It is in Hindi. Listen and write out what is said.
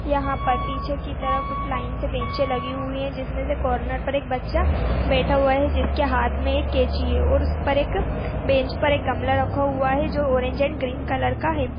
यहां पर पीछे की तरफ लाइन से बेंच लगी हुई है जिसमें से कॉर्नर पर एक बच्चा बैठा हुआ है जिसके हाथ में एक केची है और उस पर एक बेंच पर एक गमला रखा हुआ है जो ऑरेंज एंड ग्रीन कलर का है।